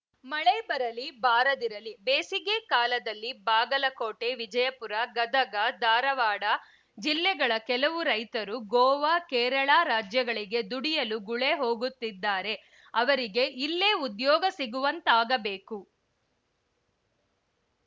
ಮಳೆ ಬರಲಿ ಬಾರದಿರಲಿ ಬೇಸಿಗೆ ಕಾಲದಲ್ಲಿ ಬಾಗಲಕೋಟೆ ವಿಜಯಪುರ ಗದಗ ಧಾರವಾಡ ಜಿಲ್ಲೆಗಳ ಕೆಲವು ರೈತರು ಗೋವಾ ಕೇರಳ ರಾಜ್ಯಗಳಿಗೆ ದುಡಿಯಲು ಗುಳೆ ಹೋಗುತ್ತಿದ್ದಾರೆ ಅವರಿಗೆ ಇಲ್ಲೇ ಉದ್ಯೋಗ ಸಿಗುವಂತಾಗಬೇಕು